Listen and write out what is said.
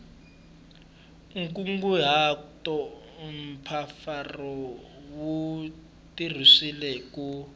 nkunguhato mpfapfarhuto wu tirhisiwile ku